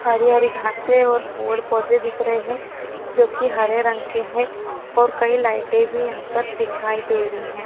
हरी हरी घासे और पोड पौधे दिख रहे है जोकि हरे रंग के है और कई लाइटे भी यहापर दिखाई दे रही है।